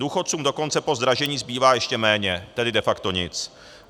Důchodcům dokonce po zdražení zbývá ještě méně, tedy de facto nic.